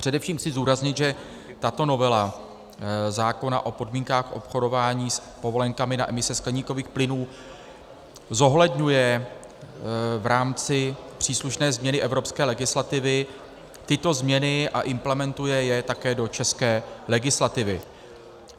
Především chci zdůraznit, že tato novela zákona o podmínkách obchodování s povolenkami na emise skleníkových plynů zohledňuje v rámci příslušné změny evropské legislativy tyto změny a implementuje je také do české legislativy.